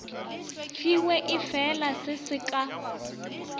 fiwe efela se se ka